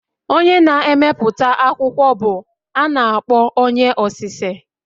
Onye na-emepụta akwụkwọ bụ a na-akpọ onye osise